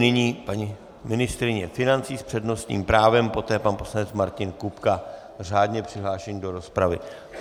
Nyní paní ministryně financí s přednostním právem, poté pan poslanec Martin Kupka řádně přihlášený do rozpravy.